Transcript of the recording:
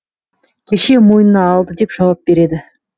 кеше мойнына алды деп жауап береді